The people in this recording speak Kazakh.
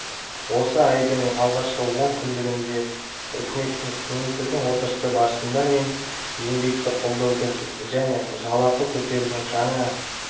осы айдың алғашқы он күндігінде үкіметтің кеңейтілген отырысы барысында мен еңбекті қолдаудың және жалақы көтерудің жаңа